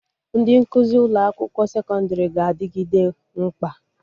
Ndị nkụzi ụlọ akwụkwọ sekọndrị ga-adịgide mkpa